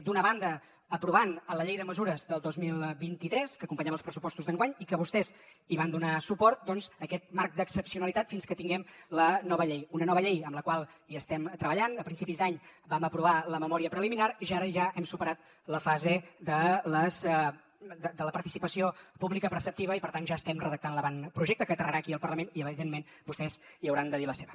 d’una banda aprovant a la llei de mesures del dos mil vint tres que acompanyava els pressupostos d’enguany i que vostès hi van donar suport doncs aquest marc d’excepcionalitat fins que tinguem la nova llei una nova llei en la qual hi estem treballant a principis d’any vam aprovar la memòria preliminar i ara ja hem superat la fase de la participació pública preceptiva i per tant ja estem redactant l’avantprojecte que aterrarà aquí al parlament i evidentment vostès hi hauran de dir la seva